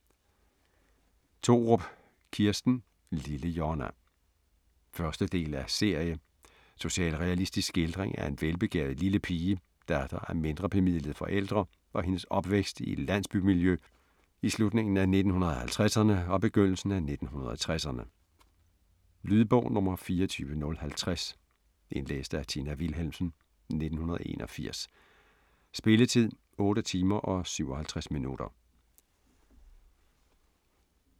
Thorup, Kirsten: Lille Jonna 1. del af serie. Socialrealistisk skildring af en velbegavet lille pige, datter af mindrebemidlede forældre, og hendes opvækst i et landsbymiljø i slutningen af 1950'erne og begyndelsen af 1960'erne. Lydbog 24050 Indlæst af Tina Wilhelmsen, 1981. Spilletid: 8 timer, 57 minutter.